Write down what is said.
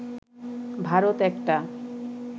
ভারত একটা